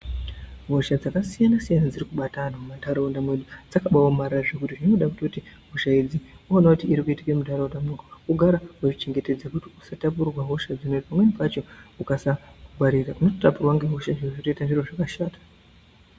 Hosha dzakasiyanasiyana dzirikubata anhu mumanharaunda medu dzakabaaomarara zvekuti zvinoda kutoti hosha idzi ukaoone kuti irikuitike munharaunda medu wogara wazvichengetedza kuti usatapurirwe hosha dzinoidzi pamweni pacho ukasa ngwarira unototapurirwa ngehosha zviro zvotoita zviro zvakatoshata.